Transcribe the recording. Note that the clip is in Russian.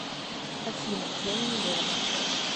афина я не надолго